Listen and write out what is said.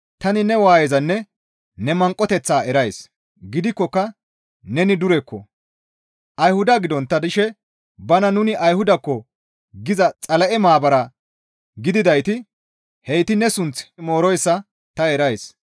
Tani ne waayezanne ne manqoteththaa erays; gidikkoka neni durekko. Ayhuda gidontta dishe bana nuni Ayhudakko giza Xala7e maabara gididayti heyti ne sunth mooroyssa ta erays.